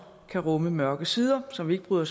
rumme mørke sider som vi ikke bryder